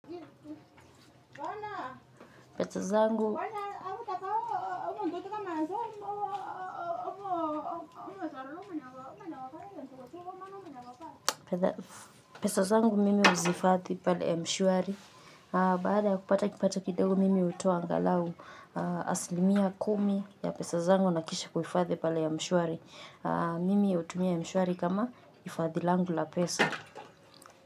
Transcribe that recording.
Pesa zangu mimi huzihifadhi pale ya mshwari. Baada ya kupata kipato kidogo mimi hutoa angalau asilimia kumi ya pesa zangu na kisha kuhifadhi pale mshwari. Mimi hutumia mshwari kama hifadhi langu la pesa.